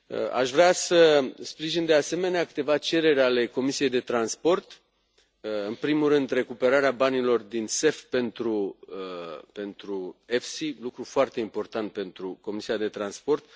Aș vrea să sprijin, de asemenea, câteva cereri ale Comisiei pentru transport. În primul rând, recuperarea banilor din CEF pentru FC, lucru foarte important pentru Comisia pentru transport.